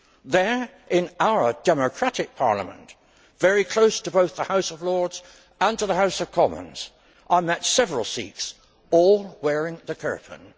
There, in our democratic parliament, very close to both the House of Lords and to the House of Commons, I met several Sikhs, all wearing the kirpan.